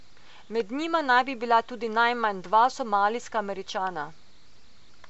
Med njimi naj bi bila tudi najmanj dva somalijska Američana.